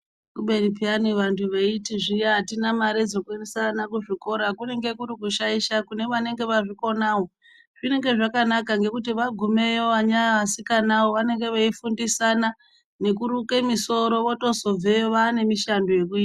Kubeni piyani vantu veiti zviya atina mare yekuendesa ana kuzvikora kunenge kuri kushaisha kune vanenge vazvikonawo zvinenge zvakanaka ngekuti vana vasikana ava vanenge veifundisana nekuruke musoro votozobveyo vane mushando yekuita .